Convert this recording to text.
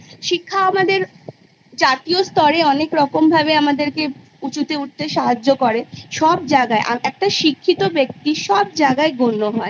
শিক্ষা আমাদের জাতীয় স্তরে অনেক রকম ভাবে আমাদেরকে উঁচুতে উঠতে সাহায্য করে সব জাগায় একটা শিক্ষিত ব্যক্তি সব জাগায় গণ্য হয়